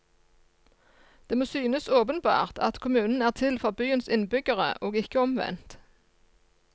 Det må synes åpenbart at kommunen er til for byens innbyggere og ikke omvendt.